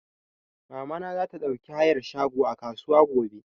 Mama na za ta ɗauki hayar shago a kasuwa gobe